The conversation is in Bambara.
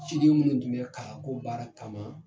Ci minnu tun bɛ kalan ko baara kama